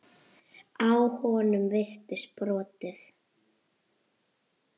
Á honum virtist brotið.